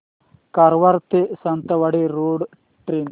कारवार ते Sawantwadi road train